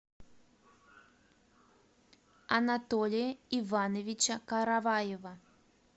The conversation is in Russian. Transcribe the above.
анатолия ивановича караваева